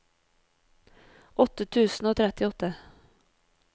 åtte tusen og trettiåtte